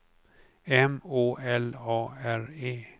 M Å L A R E